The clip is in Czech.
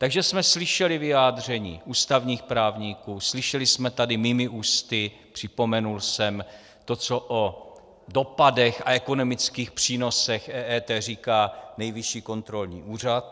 Takže jsme slyšeli vyjádření ústavních právníků, slyšeli jsme tady mými ústy, připomněl jsem to, co o dopadech a ekonomických přínosech EET říká Nejvyšší kontrolní úřad.